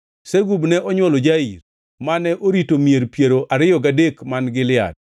Segub ne onywolo Jair, mane orito mier piero ariyo gadek man Gilead.